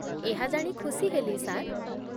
ଏହା ଜାଣି ଖୁସି ହେଲି, ସାର୍।